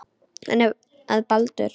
En eftir að Baldur.